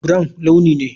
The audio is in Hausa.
Brown launi ne.